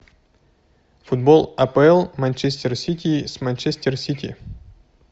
футбол апл манчестер сити с манчестер сити